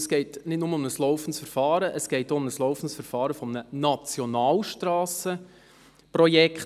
Es geht nicht nur um ein laufendes Verfahren, sondern zugleich um ein laufendes Verfahren eines Nationalstrassenprojekts.